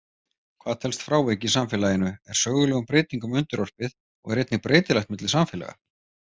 Hvað telst frávik í samfélaginu er sögulegum breytingum undirorpið og er einnig breytilegt milli samfélaga.